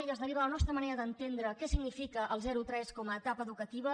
i es deriva a la nostra manera d’entendre què significa el zero tres com a etapa educativa